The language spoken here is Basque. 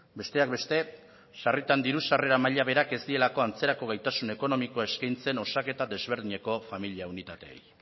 besteak beste sarritan diru sarrera maila berak ez dielako antzerako gaitasun ekonomikoa eskaintzen osaketa desberdineko familia unitateei